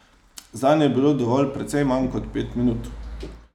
Zanj je bilo dovolj precej manj kot pet minut.